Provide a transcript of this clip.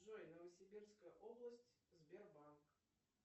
джой новосибирская область сбербанк